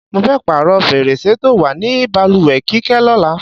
Mo fé̩ pààrò̩ fèrèsé tó wà ní balùwè̩ Kíké̩ ló̩la.